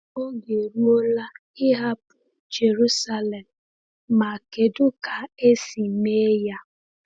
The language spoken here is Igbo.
Oge eruola ịhapụ Jerusalem — ma kedu ka esi mee ya?